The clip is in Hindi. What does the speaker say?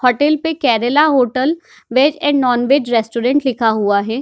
होटल पे Kerala hotel veg and non veg restaurant लिखा हुआ है।